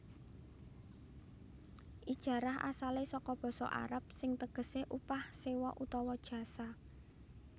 Ijarah asalé saka basa Arab sing tegesé upah sewa utawa jasa